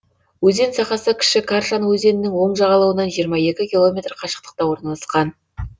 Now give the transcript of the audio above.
өзен сағасы кіші каршан өзенінің оң жағалауынан жиырма екі километр қашықтықта орналасқан